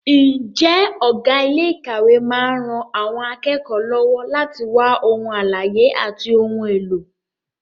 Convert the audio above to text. Ǹjẹ́ ọ̀gá ilé ìkàwé máa ń ran àwọn akẹ́kọ̀ọ́ lọ́wọ́ láti wá ohun àlàyé àti ohun èlò?